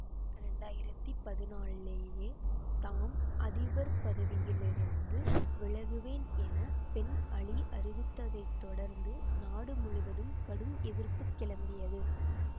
இரண்டாயிரத்தி பதினாலிலேயே தாம் அதிபர் பதவியிலிருந்து விலகுவேன் என பென் அலி அறிவித்ததைத் தொடர்ந்து நாடு முழுவதும் கடும் எதிர்ப்பு கிளம்பியது